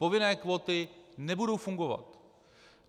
Povinné kvóty nebudou fungovat.